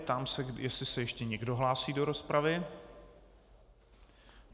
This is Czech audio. Ptám se, jestli se ještě někdo hlásí do rozpravy.